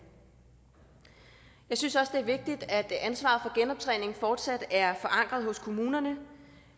jeg synes også det er vigtigt at ansvaret for genoptræning fortsat er forankret hos kommunerne